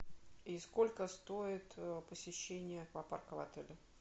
и сколько стоит посещение аквапарка в отеле